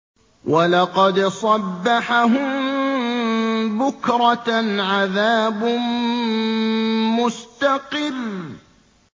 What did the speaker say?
وَلَقَدْ صَبَّحَهُم بُكْرَةً عَذَابٌ مُّسْتَقِرٌّ